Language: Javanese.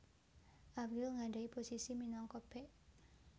Albiol nggadhahi posisi minangka bek